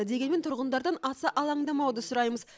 дегенмен тұрғындардан аса алаңдамауды сұраймыз